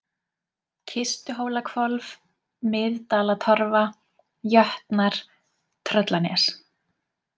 Kistuhólahvolf, Miðdalatorfa, Jötnar, Tröllanes